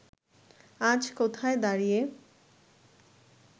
আজ কোথায় দাঁড়িয়ে